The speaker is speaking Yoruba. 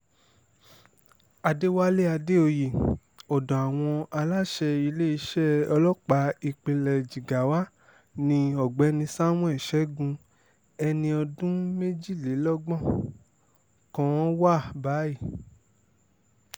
àdẹ̀wálé àdèoyè ọ̀dọ̀ àwọn aláṣẹ iléeṣẹ́ ọlọ́pàá ìpínlẹ̀ jigawa ni ọ̀gbẹ́ni samuel shegun ẹni ọdún méjìlélọ́gbọ̀n kan wà báyìí